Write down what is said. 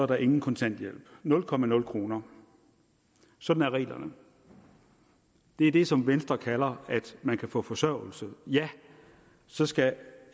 der ingen kontanthjælp nul kroner nul kroner sådan er reglerne det er det som venstre kalder at man kan få forsørgelse ja så skal